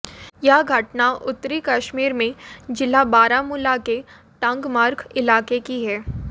यह घटना उत्तरी कश्मीर में जिला बारामुला के टंगमर्ग इलाके की है